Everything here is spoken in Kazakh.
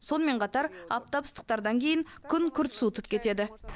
сонымен қатар аптап ыстықтардан кейін күн күрт суытып кетеді